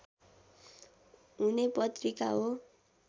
हुने पत्रिका हो